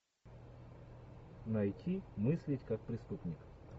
найти мыслить как преступник